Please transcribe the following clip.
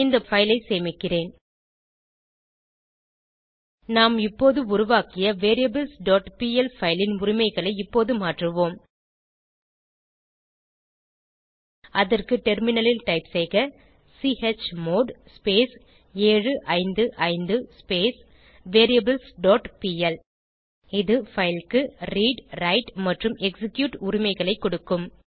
இந்த பைல் ஐ சேமிக்கிறேன் நாம் இப்போது உருவாக்கிய variablesபிஎல் பைல் ன் உரிமைகளை இப்போது மாற்றுவோம் அதற்கு டெர்மினலில் டைப் செய்க சுமோட் 755 வேரியபிள்ஸ் டாட் பிஎல் இது பைல் க்கு ரீட் விரைட் மற்றும் எக்ஸிக்யூட் உரிமைகளை கொடுக்கும்